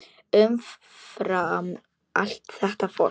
Umfram allt þetta fólk.